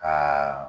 Aa